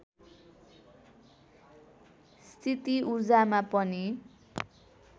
स्थिति ऊर्जामा पनि